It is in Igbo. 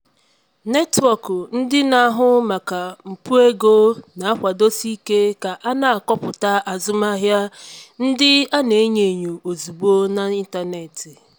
netwọk ndị na-ahụ maka mpụ ego na-akwadosi ike ka a na akọpụta azụmahịa ndị a na-enyo enyo ozugbo n'ịntanetị.